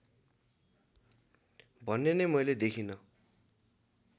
भन्ने नै मैले देखिँन